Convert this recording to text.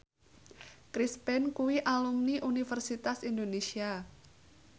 Chris Pane kuwi alumni Universitas Indonesia